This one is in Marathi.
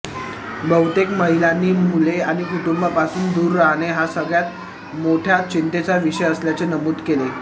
बहुतेक महिलांनी मुले आणि कुटुंबापासून दूर राहणे हा सगळ्यात मोठा चिंतेचा विषय असल्याचे नमूद केले